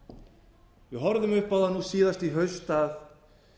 við horfðum upp á það núna síðast í haust að